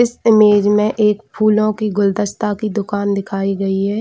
इस इमेज में एक फूलो की गुलदस्ता की दुकान दिखाई गई है।